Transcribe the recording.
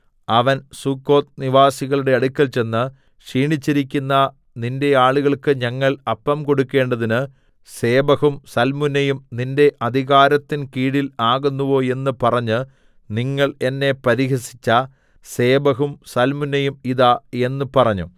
അവൻ സുക്കോത്ത് നിവാസികളുടെ അടുക്കൽ ചെന്ന് ക്ഷീണിച്ചിരിക്കുന്ന നിന്റെ ആളുകൾക്ക് ഞങ്ങൾ അപ്പം കൊടുക്കണ്ടതിന് സേബഹും സൽമുന്നയും നിന്റെ അധികാരത്തിൻ കീഴിൽ ആകുന്നുവോ എന്ന് പറഞ്ഞ് നിങ്ങൾ എന്നെ പരിഹസിച്ച സേബഹും സൽമുന്നയും ഇതാ എന്ന് പറഞ്ഞു